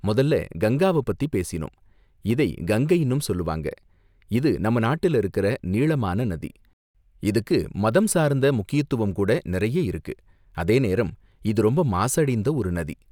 முதல்ல கங்காவ பத்தி பேசினோம், இதை கங்கைன்னும் சொல்வாங்க, இது நம்ம நாட்டுல இருக்குற நீளமான நதி, இதுக்கு மதம் சார்ந்த முக்கியத்துவம் கூட நிறைய இருக்கு, அதேநேரம் இது ரொம்ப மாசடைந்த ஒரு நதி.